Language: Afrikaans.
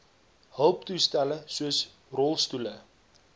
hulptoestelle soos rolstoele